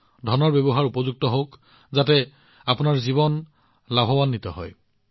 সেই টকাখিনি ভালদৰে ব্যৱহাৰ কৰক যাতে আপোনাৰ জীৱন লাভান্বিত হয়